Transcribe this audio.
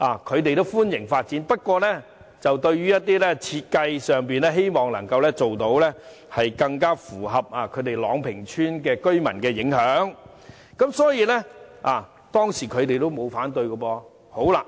他們表示歡迎發展，不過，希望設計上能更符合朗屏邨居民的要求，減少對他們的影響，所以，他們當時沒有反對。